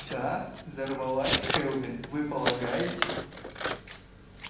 да взорвалась кэлвин вы полагаете